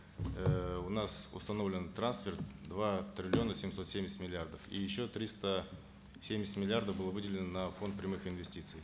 эээ у нас установлен трансферт два триллиона семьсот семьдесят миллиардов и еще триста семьдесят миллиардов было выделено на фонд прямых инвестиций